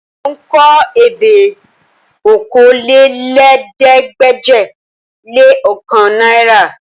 Mò ń kọ ebè okòólélẹ́ẹ̀ẹ́dégbèje-le-ọ̀kan náírà